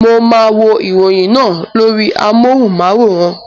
Mo máa wo ìròyìn náà lórí amohùn-máwórán